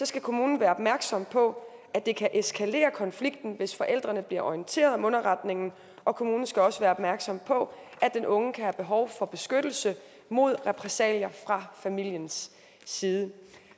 skal kommunen være opmærksom på at det kan eskalere konflikten hvis forældrene bliver orienteret om underretningen og kommunen skal også være opmærksom på at den unge kan have behov for beskyttelse mod repressalier fra familiens side